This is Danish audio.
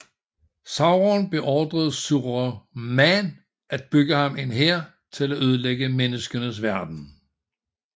Sauron beordrede Saruman at bygge ham en hær til at ødelægge menneskenes verden